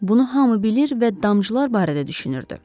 Bunu hamı bilir və damcılar barədə düşünürdü.